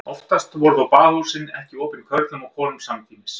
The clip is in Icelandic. Oftast voru þó baðhúsin ekki opin körlum og konum samtímis.